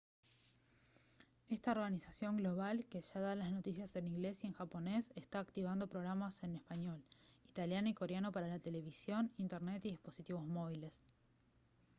esta organización global que ya da las noticias en inglés y en japonés está activando programas en español italiano y coreano para la televisión internet y dispositivos móviles